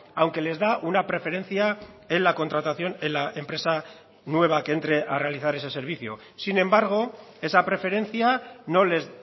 aunque les da una preferencia en la contratación en la empresa nueva que entre a realizar ese servicio sin embargo esa preferencia no les